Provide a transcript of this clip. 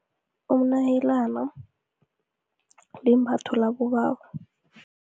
Umnayelana, limbatho labobaba.